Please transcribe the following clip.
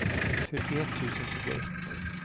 fyrtioett tusen tjugoett